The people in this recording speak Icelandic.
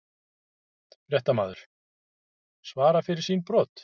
Fréttamaður: Svara fyrir sín brot?